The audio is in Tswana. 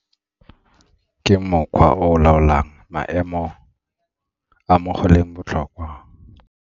Ke mokgwa o o laolang maemo a mo go leng botlhokwa.